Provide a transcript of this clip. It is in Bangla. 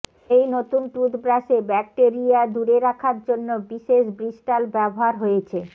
এই নতুন টুথব্রাশে ব্যাকটেরিয়া দূরে রাখার জন্য বিশেষ ব্রিস্টাল ব্যবহার হয়েছে